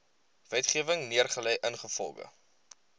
wetgewing neergelê ingevolge